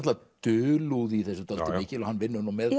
dulúð í þessu dálítið mikil og hann vinnur með